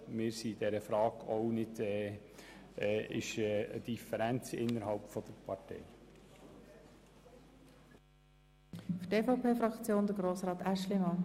Deshalb lehnen wir diese Anträge ab und werden dem Streichungsantrag der SVP zustimmen.